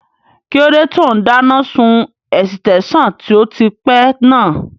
Kíló dé tó n dáná sun ẹ̀sítẹ́nsàn tó ti pẹ́ náà?